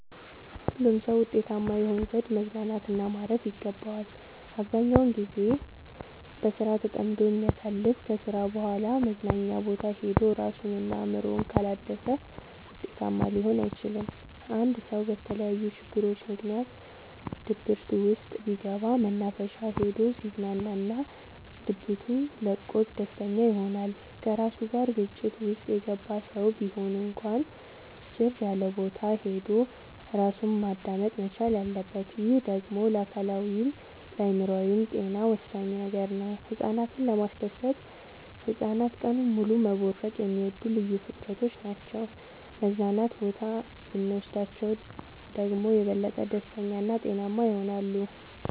ሁሉም ሰው ውጤታማ ይሆን ዘንድ መዝናናት እና ማረፍ ይገባዋል። አብዛኛውን ግዜውን በስራ ተጠምዶ የሚያሳልፍ ከስራ በኋላ መዝናኛ ቦታ ሄዶ እራሱን እና አእምሮውን ካላደሰ ውጤታማ ሊሆን አይችልም። አንድ ሰው በተለያዩ ችግሮች ምክንያት ድብርት ውስጥ ቢገባ መናፈሻ ሄዶ ሲዝናና ድብቱ ለቆት ደስተኛ ይሆናል። ከራሱ ጋር ግጭት ውስጥ የገባ ሰው ቢሆን እንኳን ጭር ያለቦታ ሄዶ እራሱን ማዳመጥ መቻል አለበት። ይህ ደግሞ ለአካላዊይም ለአእምሮአዊም ጤና ወሳኝ ነገር ነው። ህፃናትን ለማስደሰት ህፃናት ቀኑን ሙሉ መቦረቅ የሚወዱ ልዩ ፍጥረቶች ናቸው መዝናና ቦታ ብኖስዳቸው ደግሞ የበለጠ ደስተኛ እና ጤናማ ይሆናሉ።